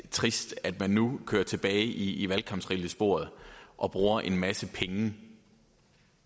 trist at man nu kører tilbage i valgkampsrillesporet og bruger en masse penge